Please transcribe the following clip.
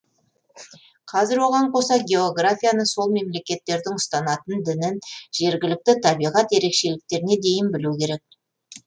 қазір оған қоса географияны сол мемлекеттердің ұстанатын дінін жергілікті табиғат ерекшеліктеріне дейін білу керек